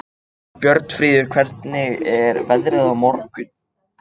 Björnfríður, hvernig er veðrið á morgun?